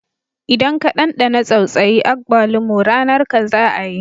Idan ka dandana tsautsayi agbalumo, ranar ka za a yi